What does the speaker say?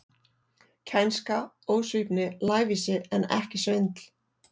Kænska, ósvífni, lævísi, en ekki svindl.